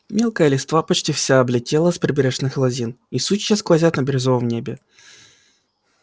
мелкая листва почти вся облетела с прибрежных лозин и сучья сквозят на бирюзовом небе